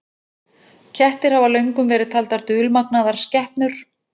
Kettir hafa löngum verið taldar dulmagnaðar skepnur.